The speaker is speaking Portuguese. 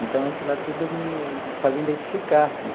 Então, aquilo lá tudo me fazia identificar, assim.